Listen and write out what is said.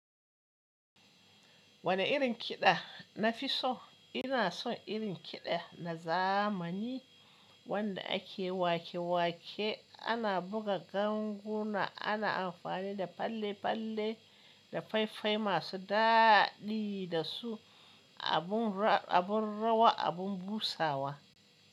Wane irin kiɗa nafi so? Ina son irin kiɗa na zamani wanda ake wake-wake, ana buga ganguna, ana amfani da falle-falle da fai-fai masu daɗi da su, abun rawa, abun busawa.